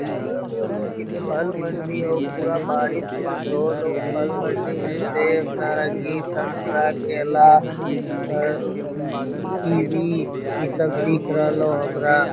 लगरहलो की फल मंडी हउ पूरा बारीस ओरिस होलाउ | फल मंडी में सेब नारंगी संतरा केला ई कीवी इ सब दिख रहलो हमरा |